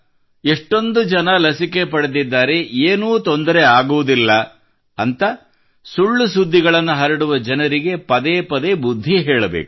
ಎಷ್ಟೊಂದು ಜನರು ಲಸಿಕೆ ಪಡೆದಿದ್ದಾರೆ ಏನೂ ಆಗುವುದಿಲ್ಲ ಎಂದು ಸುಳ್ಳು ಸುದ್ದಿಗಳನ್ನು ಹರಡುವ ಜನರಿಗೆ ಪದೇ ಪದೇ ಬುದ್ಧಿ ಹೇಳಬೇಕು